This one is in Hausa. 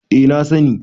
eh na sani